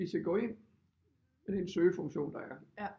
Hvis jeg går ind i den søgefunktion der er